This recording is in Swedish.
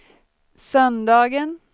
söndagen